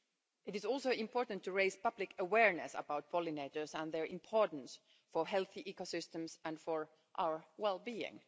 It is also important to raise public awareness about pollinators and their importance for healthy ecosystems and for our well being.